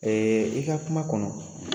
Ee i ka kuma kɔnɔ